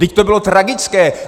Vždyť to bylo tragické!